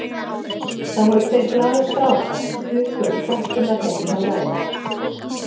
Það voru tveir glaðir strákar sem stukku upp tröppurnar heima hjá Lalla.